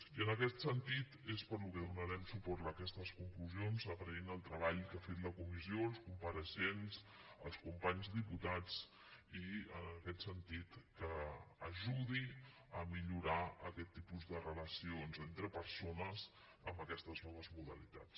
i en aquest sentit és pel qual donarem suport a aquestes conclusions agraint el treball que ha fet la comissió els compareixents els companys diputats i en aquest sentit que ajudi a millorar aquest tipus de relacions entre persones amb aquestes noves modalitats